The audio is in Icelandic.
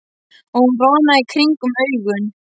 Og hún roðnaði í kringum augun.